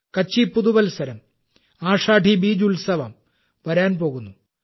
കച്ചി പുതുവത്സരം - ആഷാഢി ബീജ് ഉത്സവം വരാൻ പോകുന്നു